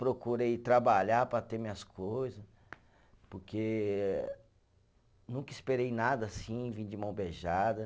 Procurei trabalhar para ter minhas coisa, porque nunca esperei nada assim, vir de mão beijada.